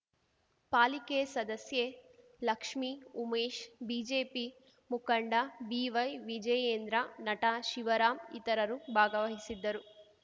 ಪಾಲಿಕೆ ಸದಸ್ಯೆ ಲಕ್ಷ್ಮಿ ಉಮೇಶ್‌ ಬಿಜೆಪಿ ಮುಖಂಡ ಬಿವೈವಿಜಯೇಂದ್ರ ನಟ ಶಿವರಾಂ ಇತರರು ಭಾಗವಹಿಸಿದ್ದರು